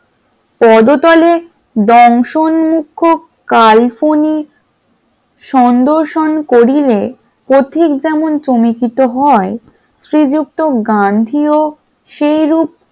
পদতলে দংশন মুক্ষুক কালকনি সনদর্শন করিলেন। পথিক যেমন চমকিত হন শ্রীযুক্ত গান্ধী ও সেরুপ